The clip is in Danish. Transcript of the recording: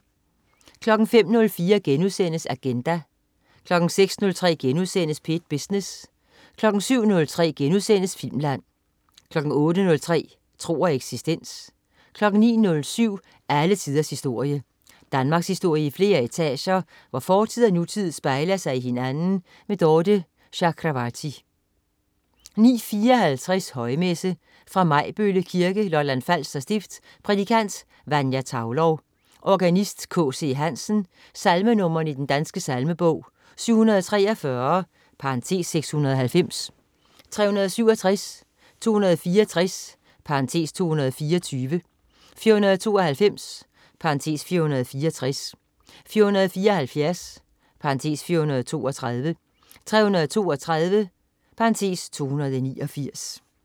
05.04 Agenda* 06.03 P1 Business* 07.03 Filmland* 08.03 Tro og eksistens 09.07 Alle tiders historie. Danmarkshistorie i flere etager, hvor fortid og nutid spejler sig i hinanden. Dorthe Chakravarty 09.54 Højmesse. Fra Majbølle Kirke, Lolland Falster stift. Prædikant: Vanja Thaulow. Organist: K.C. Hansen. Salmenr. i Den Danske Salmebog: 743 (690), 367, 264 (224), 492 (464), 474 (432), 332 (289